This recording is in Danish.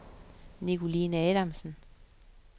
Nicoline Adamsen